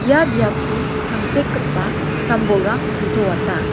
ia biapko tangsekgipa sam-bolrang nitoata.